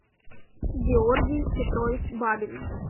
георгий петрович бабин